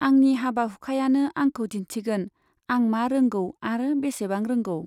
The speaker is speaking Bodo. आंनि हाबा हुखायानो आंखौ दिन्थिगोन आं मा रोंगौ आरो बेसेबां रोंगौ।